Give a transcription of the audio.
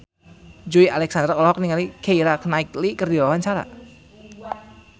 Joey Alexander olohok ningali Keira Knightley keur diwawancara